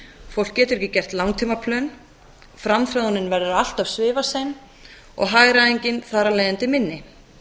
fólk getur ekki gert langtíma plön framþróunin verður allt svifasein og hagræðingin þar af leiðandi minni